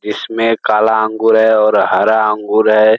इसमें काला अंगूर है और हरा अंगूर है।